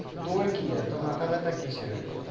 তোর কি? এতো মাথা ব্যথা কিসের?